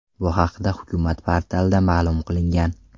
Bu haqda hukumat portalida ma’lum qilingan .